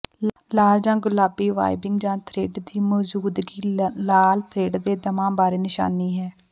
ਲਾਲ ਜਾਂ ਗੁਲਾਬੀ ਵਾਈਬਿੰਗ ਜਾਂ ਥਰਿੱਡ ਦੀ ਮੌਜੂਦਗੀ ਲਾਲ ਥਰਿੱਡ ਦੇ ਦਮਾ ਬਾਰੇ ਨਿਸ਼ਾਨੀ ਹੈ